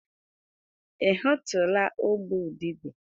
Ị hụtụla ụgbụ udide?